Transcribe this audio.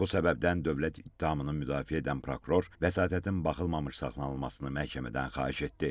Bu səbəbdən dövlət ittihamını müdafiə edən prokuror vəsatətin baxılmamış saxlanılmasını məhkəmədən xahiş etdi.